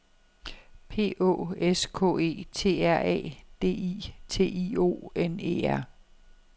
P Å S K E T R A D I T I O N E R